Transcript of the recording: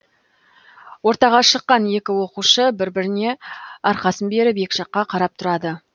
ортаға шыққан екі оқушы бір біріне арқасын беріп екі жаққа қарап тұрады